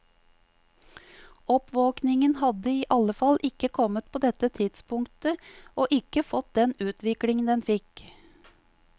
Oppvåkningen hadde i alle fall ikke kommet på dette tidspunktet og ikke fått den utviklingen den fikk.